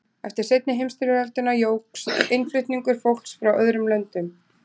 eftir seinni heimsstyrjöldina jókst innflutningur fólks frá öðrum löndum